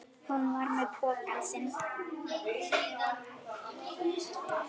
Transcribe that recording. Hún var með pokann sinn.